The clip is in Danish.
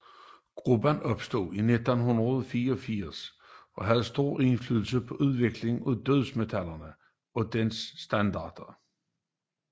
Gruppen opstod i 1984 og havde stor indflydelse på udviklingen af dødsmetalgenren og dens standarder